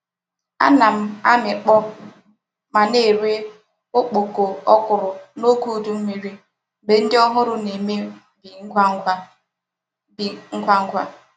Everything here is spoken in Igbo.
Ana m amikpo ma na-ere okpoko okwuru n'oge udi mmiri mgbe ndi ohuru na-eme bi ngwa ngwa.. bi ngwa ngwa..